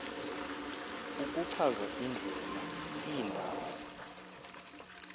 ukuchaza indlela iindaba